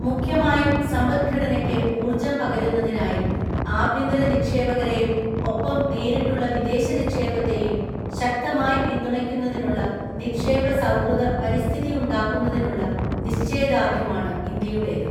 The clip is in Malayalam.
മുഖ്യമായും സമ്പദ്ഘടനയ്ക്ക് ഊർജ്ജം പകരുന്നതിനായി ആഭ്യന്തര നിക്ഷേപകരെയും ഒപ്പം നേരിട്ടുള്ള വിദേശ നിക്ഷേപത്തേയൂം ശക്തമായി പിന്തുണയ്ക്കുന്നതിനുള്ള നിക്ഷേപസൗഹൃദ പരിസ്ഥിതിയുണ്ടാക്കുന്നതിനുള്ള നിശ്ചയദാർഢ്യമാണ് ഇന്ത്യയുടേത്.